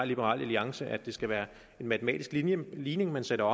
liberal alliance at det skulle være en matematisk ligning ligning man sætter